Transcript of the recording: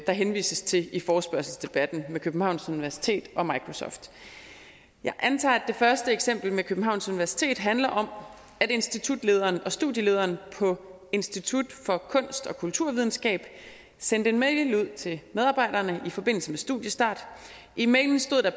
der henvises til i forespørgselsdebatten med københavns universitet og microsoft jeg antager at det første eksempel med københavns universitet handler om at institutlederen og studielederen på institut for kunst og kulturvidenskab sendte en mail ud til medarbejderne i forbindelse med studiestart i mailen stod der